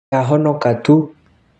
Ndahonoka tu.